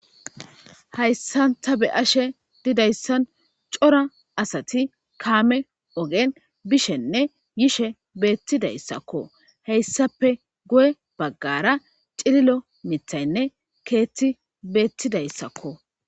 Hayssan ta beyashe dizayssan cora asati kaame oogen bishenne yishe betidayssakko hessappe guye baggara cillillo miiththaynne keththi bettidayssakko